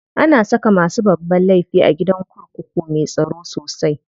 Ana saka masu babban laifi a gidan kurkuku me tsaro sosai.